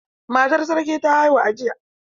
Matar sarki ta haihu a jiya.